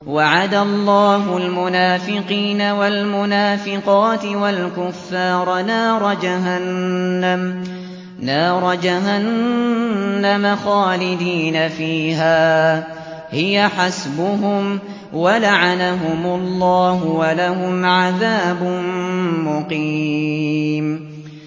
وَعَدَ اللَّهُ الْمُنَافِقِينَ وَالْمُنَافِقَاتِ وَالْكُفَّارَ نَارَ جَهَنَّمَ خَالِدِينَ فِيهَا ۚ هِيَ حَسْبُهُمْ ۚ وَلَعَنَهُمُ اللَّهُ ۖ وَلَهُمْ عَذَابٌ مُّقِيمٌ